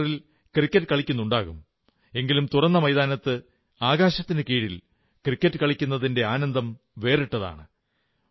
കമ്പ്യൂട്ടറിൽ ക്രക്കറ്റു കളിക്കുന്നുണ്ടാകും എങ്കിലും തുറന്ന മൈതാനത്ത് ആകാശത്തിൻ കീഴിൽ ക്രിക്കറ്റു കളിക്കുന്നതിന്റെ ആനന്ദം വേറിട്ടതാണ്